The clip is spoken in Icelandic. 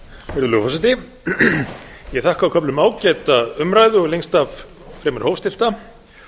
virðulegur forseti ég þakka á köflum ágæta umræðu og lengst af fremur hófstillta